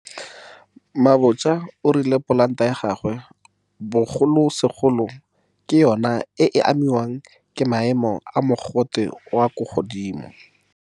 Mabotja o rile polanta ya gagwe, bogolosegolo, ke yona e e amiwang ke maemo a mogote yo o kwa godimo.